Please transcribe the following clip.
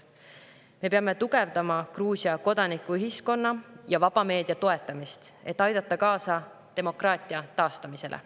Me peame tugevdama Gruusia kodanikuühiskonna ja vaba meedia toetamist, et aidata kaasa demokraatia taastamisele.